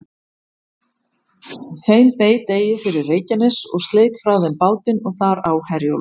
Þeim beit eigi fyrir Reykjanes, og sleit frá þeim bátinn og þar á Herjólf.